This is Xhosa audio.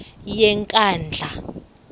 yenkandla